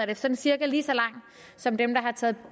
er sådan cirka lige så lang som